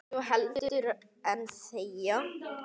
svo heldur en þegja